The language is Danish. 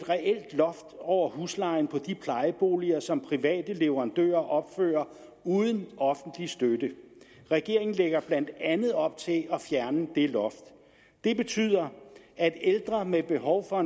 loft over huslejen for de plejeboliger som private leverandører opfører uden offentlig støtte regeringen lægger blandt andet op til at fjerne det loft det betyder at ældre med behov for